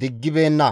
diggibeenna.